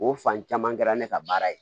O fan caman kɛra ne ka baara ye